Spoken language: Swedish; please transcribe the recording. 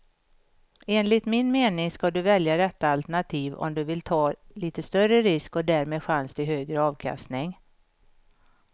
Enligt min mening ska du välja detta alternativ om du vill ta lite större risk och därmed chans till högre avkastning.